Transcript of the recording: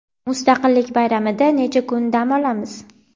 Mustaqillik bayramida necha kun dam olamiz?.